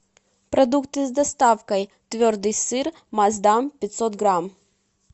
продукты с доставкой твердый сыр маасдам пятьсот грамм